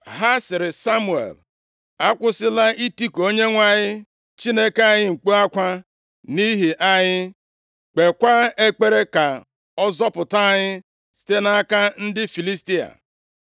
Ha sịrị Samuel, “Akwụsịla itiku Onyenwe anyị Chineke anyị mkpu akwa nʼihi anyị, kpeekwa ekpere ka ọ zọpụta anyị site nʼaka ndị Filistia.”